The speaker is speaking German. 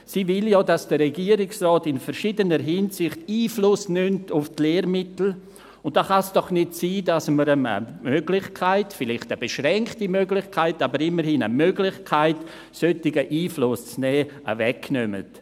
Sie will ja, dass der Regierungsrat in verschiedener Hinsicht Einfluss nimmt auf die Lehrmittel, und da kann es doch nicht sein, dass wir eine Möglichkeit – eine vielleicht beschränkte Möglichkeit, aber immerhin eine Möglichkeit –, solchen Einfluss zu nehmen, wegnehmen.